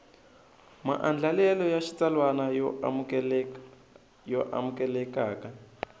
maandlalelo ya xitsalwana yo amukelekaka